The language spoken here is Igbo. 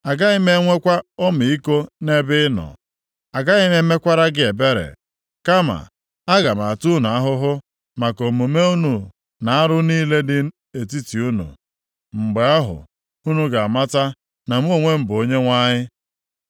Agaghị m enwekwa ọmịiko nʼebe ị nọ, agaghị m emekwara gị ebere, kama aga m ata unu ahụhụ maka omume unu na arụ niile dị nʼetiti unu. “ ‘Mgbe ahụ, unu ga-amata na mụ onwe m bụ Onyenwe anyị.’